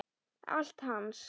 Allt hans.